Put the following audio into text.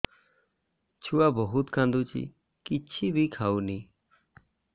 ଛୁଆ ବହୁତ୍ କାନ୍ଦୁଚି କିଛିବି ଖାଉନି